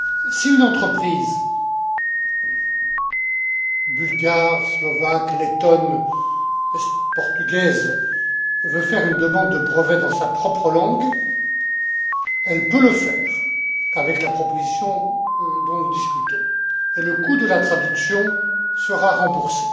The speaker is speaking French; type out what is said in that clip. Si une entreprise bulgare, slovaque, lettone ou portugaise veut faire une demande de brevet dans sa propre langue, elle peut le faire avec la proposition dont nous discutons, et le coût de la traduction sera remboursé.